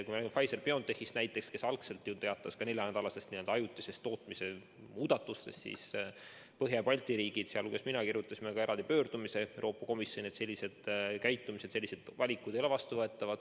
Näiteks Pfizer-BioNTech teatas algselt neljanädalasest n-ö ajutisest tootmise vähendamisest ja selle peale Põhja- ja Baltimaad tegid – ka mina kirjutasin sellele alla – eraldi pöördumise Euroopa Komisjoni poole, et selline käitumine ei ole vastuvõetav.